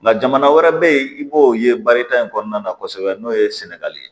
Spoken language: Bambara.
Nka jamana wɛrɛ bɛ yen i b'o ye barita in kɔnɔna na kosɛbɛ n'o ye sɛnɛgali ye